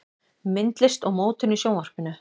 Myndlist og mótun í Sjónvarpinu